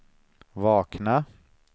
vakna